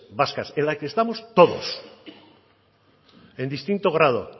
vascas en las que estamos todos en distinto grado